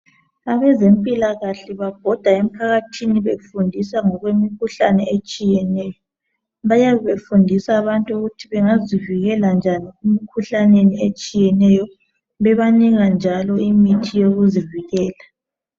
Abezempilakahle babhoda emphakathini befundisa ngokwemikhuhlane etshiyeneyo bayabe befundisa abantu ukuthi bengazivikela njani emikhuhlaneni etshiyeneyo bebanika njalo imithi yokuzivikela